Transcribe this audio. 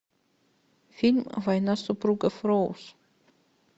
фильм война супругов роуз